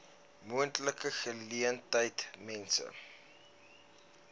moontlike geleentheid mense